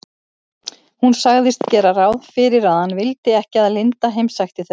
Hún sagðist gera ráð fyrir að hann vildi ekki að linda heimsækti þau.